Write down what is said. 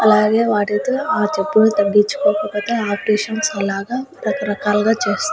అలాగే వాటిల్తో ఆ చెప్పులు తగ్గించుకోకపోతే ఆర్టీషన్స్ అలాగా రకరకాలాగ చెస్--